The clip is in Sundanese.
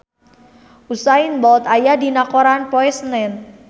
Usain Bolt aya dina koran poe Senen